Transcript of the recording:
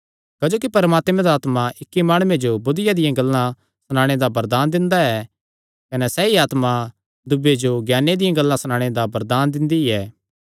क्जोकि परमात्मे दा आत्मा इक्की माणुये जो बुद्धिया दियां गल्लां सणाणे दा वरदान दिंदा ऐ कने सैई आत्मा दूयेयां जो ज्ञाने दियां गल्लां सणाणे दा वरदान दिंदी ऐ